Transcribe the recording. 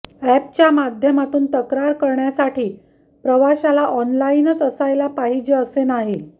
अॅपच्या माध्यमातून तक्रार करण्यासाठी प्रवाशाला ऑनलाईनच असायला पाहिजे असे नाही